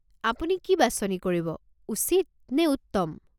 আপুনি কি বাছনি কৰিব, উচিত নে উত্তম?